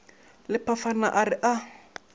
le phafana a re a